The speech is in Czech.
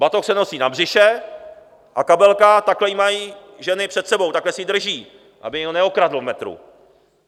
Batoh se nosí na břiše a kabelka, takhle ji mají ženy před sebou, takhle si ji drží, aby je neokradl v metru.